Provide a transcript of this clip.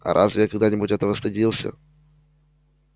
а разве я когда-нибудь этого стыдился